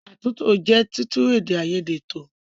Àtúntò jẹ́ títún èdè àìyedè tò.